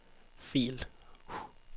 fil